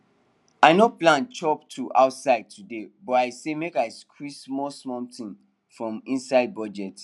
i no plan chop to outside today but i say make i squeeze small something from inside budget